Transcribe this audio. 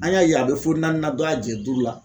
An y'a ye a bɛ fɔ naani nan dɔ y"a jɛ duuru la.